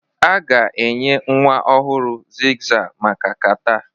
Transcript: A ga-enye nwa ọhụrụ Xyzal maka catarh